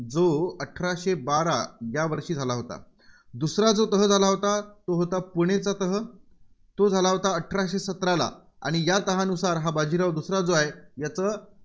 जो अठराशे बारा यावर्षी झाला होता. दुसरा जो तह झाला होता, तो होता पुणेचा तह. तो झाला होता अठराशे सतराला आणि याच तहानुसार बाजाराव दुसरा जो आहे, याचं